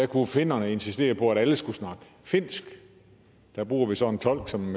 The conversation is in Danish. kunne finnerne insistere på at alle skulle snakke finsk der bruger vi så en tolk som